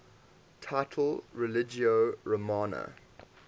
title religio romana